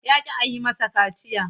Ya ƙi a yi masa kaciya.